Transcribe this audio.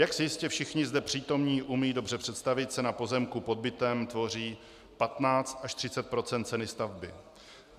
Jak si jistě všichni zde přítomní umí dobře představit, cena pozemku pod bytem tvoří 15 % až 30 % ceny stavby.